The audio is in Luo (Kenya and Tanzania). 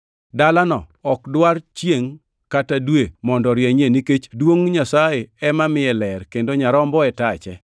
Dalano ok dwar chiengʼ kata dwe mondo orienyne, nikech duongʼ Nyasaye ema miye ler, kendo Nyarombo e tache.